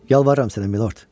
Yalvarıram sənə, Milord.